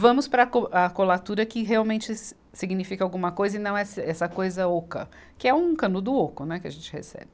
Vamos para a co, a colatura que realmente si, significa alguma coisa e não é esse, essa coisa oca, que é um canudo oco, né, que a gente recebe.